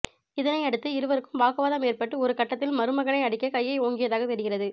இதனை அடுத்து இருவருக்கும் வாக்குவாதம் ஏற்பட்டு ஒரு கட்டத்தில் மருமகனை அடிக்க கையை ஓங்கியதாக தெரிகிறது